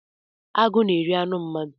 Agụ na-eri anụ mmadụ.